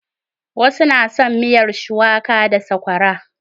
Wasu na son miyar shuwaka da sakwara.